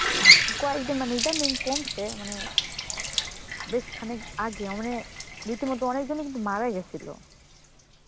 কয়েকদি~ মানে এটা নেই কমছে মানে বেশ খানিক আগে আ মানে রীতিমতো অনেকজনই কিন্তু মারা গেছিল.